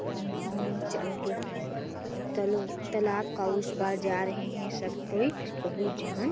और नाव चल के तला-तालाब के उस पर जा रहे है सब कोई बहुत जन--